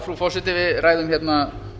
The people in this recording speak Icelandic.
frú forseti við ræðum hérna